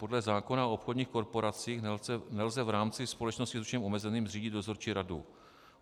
Podle zákona o obchodních korporacích nelze v rámci společnosti s ručením omezeným zřídit dozorčí radu.